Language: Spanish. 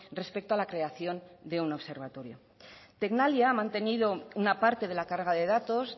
respecto a la creación de un observatorio tecnalia ha mantenido una parte de la carga de datos